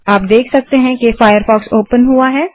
अब आप देख सकते हैं कि फ़ायरफ़ॉक्स ओपन हुआ है